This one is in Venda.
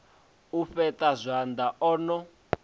u fheṱa zwanḓa o no